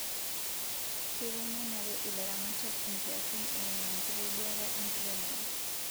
Keitengenare ilaramatak inkiasin eimu enkitoduata enkiremore